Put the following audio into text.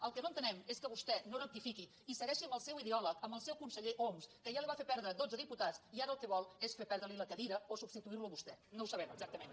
el que no entenem és que vostè no rectifiqui i segueixi amb el seu ideòleg amb el seu conseller homs que ja li va fer perdre dotze diputats i ara el que vol és ferli perdre la cadira o substituir lo a vostè no ho sabem exactament